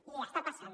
i està passant